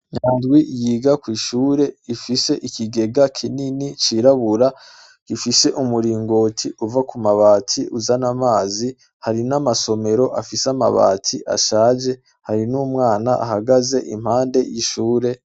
Nyandwi yiga kw'ishure ifise ikigega kinini cirabura ifishe umuringoti uva ku mabati uzana amazi hari n'amasomero afise amabati ashaje hari n'umwana ahagaze impande y'ishure.